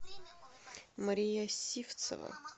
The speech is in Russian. мария сивцева